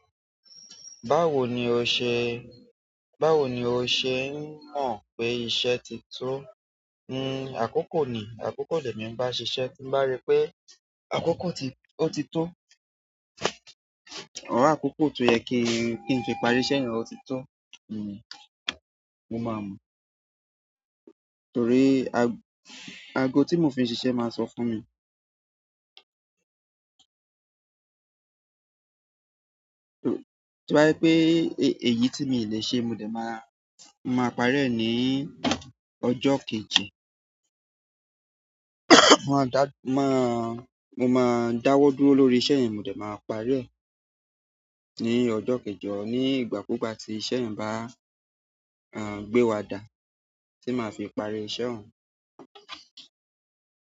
Báwo ni o ṣe, báwo ni o ṣe ń mọ̀ pé iṣẹ́ ti tó? Nn, àkókò ni, àkókò lè mí bá ṣi iṣẹ́ tí bá rí pé àkókò ti-- ó ti tó, ọ̀rọ̀ àkókò tó yẹ kí n fi parí iṣẹ́ yẹn ó ti tó. Nn, mo máa mọ. Torí ago ti mo fi n sise ma so fún mi to bá je pé èyí tí mi le ṣe mo dè máa, máa parí rẹ̀ ní ọjọ́ kejì. Mo máa dá, máa, mo máa dáwọ́ dúró lórí iṣẹ́ yẹn, mo dè máa parí rẹ̀ ní ọjọ́ kejọ, ní ìgbà kugba tí iṣẹ́ yẹn bá, aàh, gbé wa dà, tí máa fi parí iṣẹ́ òun.